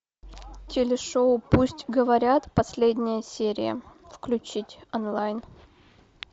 телешоу пусть говорят последняя серия включить онлайн